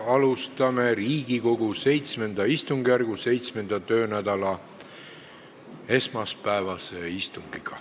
Alustame Riigikogu VII istungjärgu 7. töönädala esmaspäevast istungit.